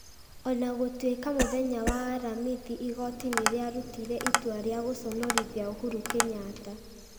o na gũtuĩka mũthenya wa aramathi igooti nĩ rĩarutire itua rĩa gũconorithia Uhuru Kenyatta.